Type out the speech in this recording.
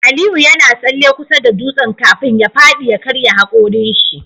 Aliyu yana tsalle kusa da dutsen kafin ya fadi ya karya hakorin shi